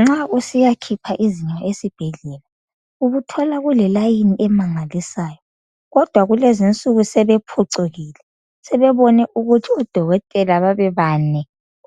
Nxa usiyakhipha izinyo esibhedlela. Ubuthola kule layini emangalisayo. Kodwa kulezinsuku sebephucukile. Sebebone ukuthi odokotela babebane